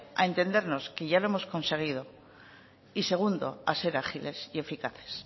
a entendernos que ya lo hemos conseguido y segundo a ser ágiles y eficaces